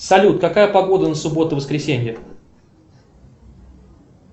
салют какая погода на субботу воскресенье